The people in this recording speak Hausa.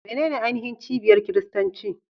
Menene ainihin cibiyar Kiristanci?